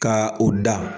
Ka o da